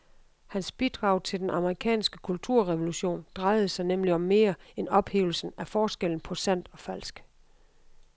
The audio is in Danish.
Hans bidrag til den amerikanske kulturrevolution drejede sig nemlig om mere end ophævelsen af forskellen på sandt og falsk.